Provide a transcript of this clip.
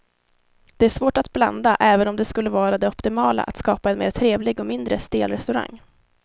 Det är svårt att blanda även om det skulle vara det optimala att skapa en mer trevlig och mindre stel restaurang.